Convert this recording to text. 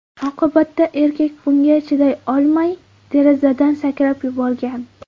Oqibatda erkak bunga chiday olmay, derazadan sakrab yuborgan.